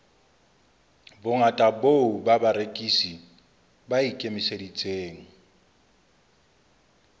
bongata boo barekisi ba ikemiseditseng